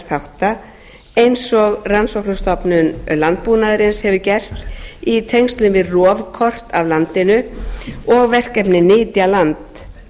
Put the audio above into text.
náttúrufarsþátta eins og rannsóknastofnun landbúnaðarins hefur gert í tengslum við rofkort af landinu og verkefnið nytjaland